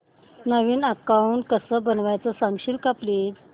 नवीन account कसं बनवायचं सांगशील का प्लीज